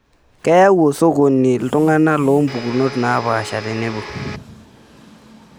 Keyau osokoni iltung'ana loompukunot naapasha tenebo.